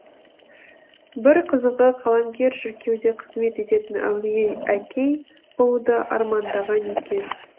бір қызығы қаламгер шіркеуде қызмет ететін әулие әкей болуды армандаған екен